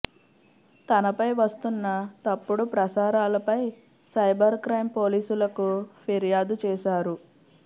తనపై వస్తున్న తప్పుడు ప్రసారాలపై సైబర్ క్రైం పోలీసులకు ఫిర్యాదు చేశారు